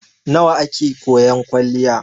Nawa a ke koyan kwaliya?